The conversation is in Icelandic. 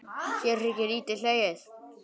Hér er ekki lítið hlegið.